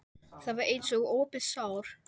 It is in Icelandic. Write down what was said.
Það var eins og opið sár.